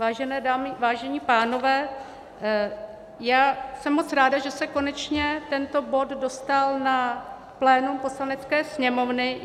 Vážené dámy, vážení pánové, já jsem moc ráda, že se konečně tento bod dostal na plénum Poslanecké sněmovny.